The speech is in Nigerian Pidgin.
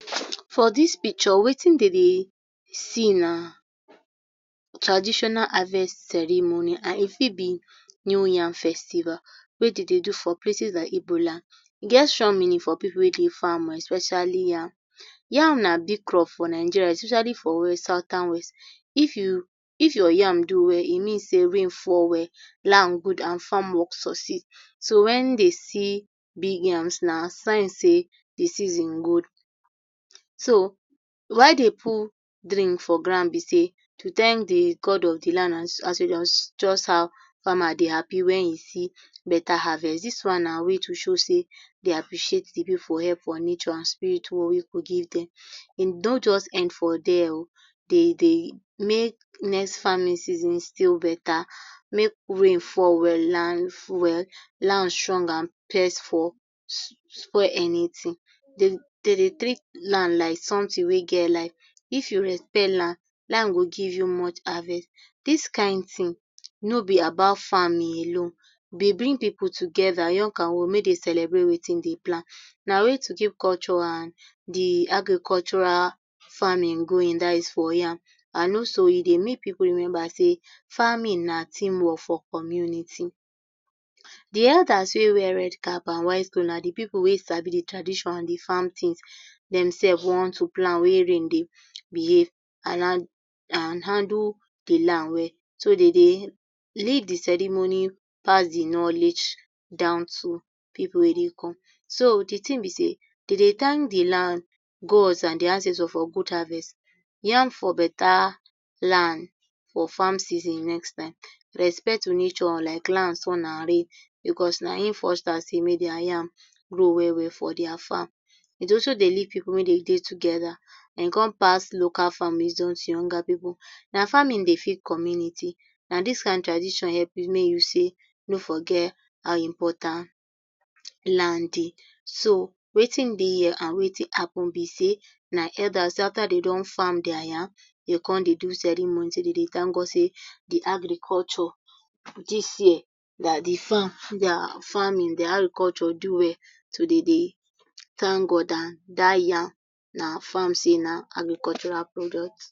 For dis picture wetin dem dey see na traditional harvest ceremony and e fit be new yam festival, wey dey dey do for places like igbo land. E get strong meaning for pipu wey dey farm especially yam. Yam na big crop for Nigeria especially for west, southern west. If you, if your yam do well e mean sey rain fall well, land good and farm work succeed so, when dey see big yams na sign sey de season good. So why dem put drink for ground be sey to thank di god of di land as just how farmer dey happy when e see better harvest dis one na way to show sey appreciate de pipu help and wey dey give dem. E no just end for there um dem dey make next farming season still better make rain fall well and land strong and pest for spoil anything. Den dey dey take land as something wey get life, if you respect land, land go give you much harvest. Dis kind ting no be about farming, e dey bring pipu together young and old make dem celebrate wetin dem plant, na way to keep culture and de agricultural farming going dat is for yam. And also e dey make pipu remember sey farming na team work for community. Di elders wey wear red cap and white clothes na pipu wey sabi de traditions and de yam thing themselves how to plan whn rain dey behave and handle de land well so dey dey lead di ceremony pass de knowledge down to pipu wey dey come, so de thing be sey, dem dey thank di land god and ancestors for good harvest.yam for better land for farm season next time, respect nature like land, sun and rain because na im foster sey make their yam grow well well for their farm. It also dey lead pipu make dem dey together. And e come pass farming wisdom to younger pipu. Na farming dey feed community na dis kind tradition help you make you sey no forget how important land dey. So wetin dey here and wetin happen be sey na elders after dey don farm their yam dem go come dey do ceremony sey dem dey thank God sey de agriculture dis year, like di farm na farming de agriculture do well. So dey dey thank God and dat yam na farm sey na agricultural product.